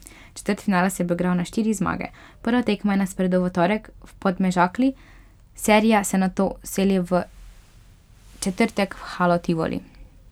Četrtfinale se bo igral na štiri zmage, prva tekma je na sporedu v torek v Podmežakli, serija se nato seli v četrtek v Halo Tivoli.